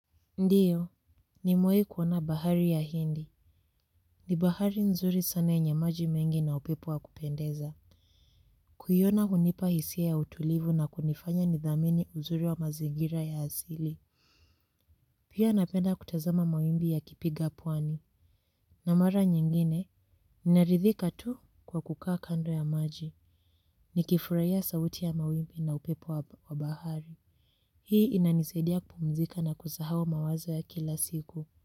Ndiyo, nimewahi kuona bahari ya hindi. Ni bahari nzuri sana yenye maji mengi na upepo wa kupendeza. Kuiona hunipa hisia ya utulivu na kunifanya nidhamini uzuri wa mazigira ya asili. Pia napenda kutazama mawimbi ya kipiga pwani. Na mara nyingine, ninaridhika tu kwa kukaa kando ya maji. Ni kifurahia sauti ya mawimbi na upepo wa bahari. Hii inanisadia kumzika na kusahau mawazo ya kila siku.